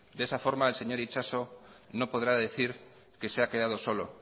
de esa forma el señor itxaso no podrá decir que se ha quedado solo